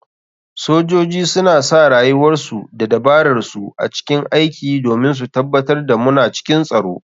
Sojoji suna sa rayuwarsu da dabararsu a cikin aiki domin su tabatar da muna cikin tsaro.